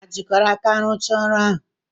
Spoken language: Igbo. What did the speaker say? Hà jikọrọ aka rụchaa ọrụ ahụ?